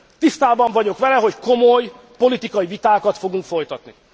Tisztában vagyok vele, hogy komoly, politikai vitákat fogunk folytatni.